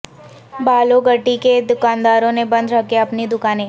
بالو گٹی کے دکانداروں نے بند رکھیں اپنی دکانیں